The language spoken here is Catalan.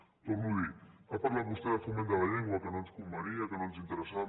ho torno a dir ha parlat vostè de foment de la llengua que no ens convenia que no ens interessava